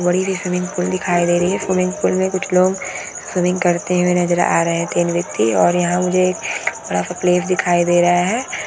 बड़ी सी swimming pool दिखाई दे रही है स्विमिंग पूल में कुछ लोग स्विमिंग करते हुए नजर आ रहे हैं तीन व्यक्ति और मुझे यहां पर एक बड़ा सा प्लेस दिखाई दे रहा है।